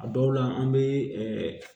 A dɔw la an bɛ